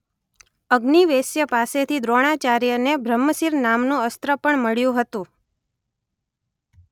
અગ્નિવેશ્ય પાસેથી દ્રોણાચાર્યને બ્રહ્મશિર નામનું અસ્ત્ર પણ મળ્યું હતું.